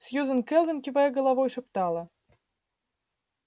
сьюзен кэлвин кивая головой шептала